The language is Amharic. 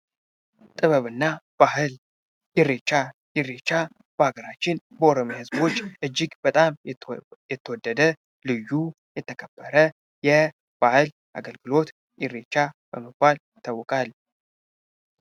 ጥበብና ባህል እሬቻ እሬቻ በሀገራችን በኦሮሚያ ህዝቦች እጅግ በጣም የተወደደ ልዩ የተከበረ የበዓል አገልግሎት እሬቻ በመባል ይታወቃል።